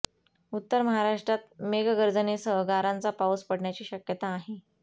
उत्तर महाराष्ट्रात मेघगर्जनेसह गारांचा पाऊस पडण्याची शक्यता आहे